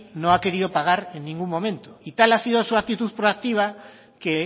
no ha querido pagar en ningún momento y tal ha sido su actitud proactiva que